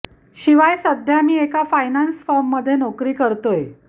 शिवाय सध्या मी एका फायनान्स फर्ममध्ये नोकरी करतोय